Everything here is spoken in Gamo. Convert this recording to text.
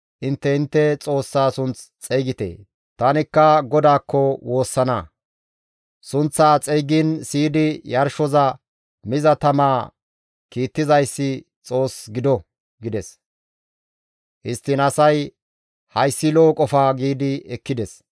Intte intte xoossaa sunth xeygite; tanikka GODAAKKO woossana; sunththaa xeygiin siyidi yarshoza miza tamaa kiittizayssi Xoos gido» gides. Histtiin asay, «Hayssi lo7o qofa» giidi ekkides.